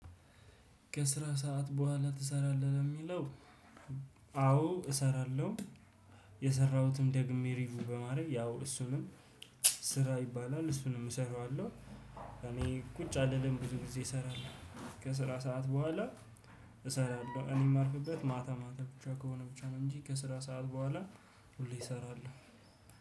ከስራ ሰዓት በኋላ ትሰራለ? ለሚለው አዎ እሰራለሁ የሰራሁትን ደግሜ ሪቪው በማድረግ ያው እሱንም ስራ ይባላል እሱንም እሰራዋለሁ እኔ ቁጭ አልልም ብዙ ጊዜ እሰራለሁ ከስራ ስዓት በኋላ እሰራለሁ እኔም የማርፍበት ማታ ማታ ብቻ ከሆነ ብቻ ነው እንጂ ከስራ ሰዓት በኋላ ሁሌ እሰራለሁ።